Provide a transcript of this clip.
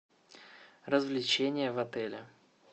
развлечения в отеле